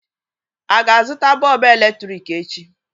A ga-azụta bọlbụ èlétị̀ik echi?